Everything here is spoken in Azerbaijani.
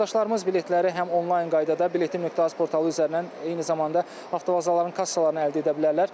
Vətəndaşlarımız biletləri həm onlayn qaydada biletim.az portalı üzərindən, eyni zamanda avtovazaların kassalarından əldə edə bilərlər.